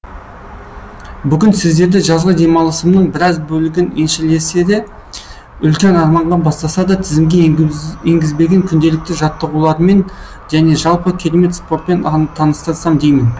бүгін сіздерді жазғы демалысымның біраз бөлігін еншілесе де үлкен арманға бастаса да тізімге енгізбеген күнделікті жаттығуларыммен және жалпы керемет спортпен таныстырсам деймін